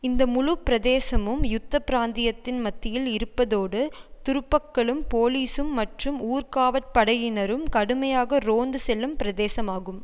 இந்த முழு பிரதேசமும் யுத்த பிராந்தியத்தின் மத்தியில் இருப்பதோடு துருப்பக்களும் போலிசும் மற்றும் ஊர்காவற் படையினரும் கடுமையாக ரோந்து செல்லும் பிரதேசமாகும்